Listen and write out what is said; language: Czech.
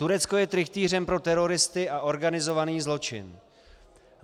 Turecko je trychtýřem pro teroristy a organizovaný zločin.